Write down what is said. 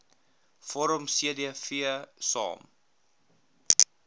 vorm cdv saam